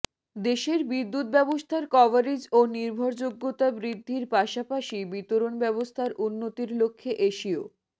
দেশের বিদ্যুৎ ব্যবস্থার কভারেজ ও নির্ভরযোগ্যতা বৃদ্ধির পাশাপাশি বিতরণ ব্যবস্থার উন্নতির লক্ষ্যে এশিয়